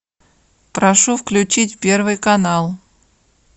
прошу включить первый канал